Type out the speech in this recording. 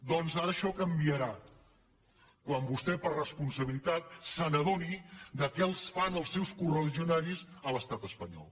doncs ara això canviarà quan vostè per responsabilitat s’adoni de què els fan els seus coreligionaris a l’estat espanyol